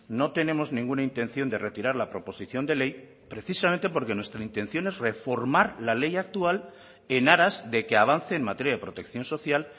no tenemos ninguna intención de retirar la proposición de ley precisamente porque nuestra intención es reformar la ley actual en aras de que avance en materia de protección social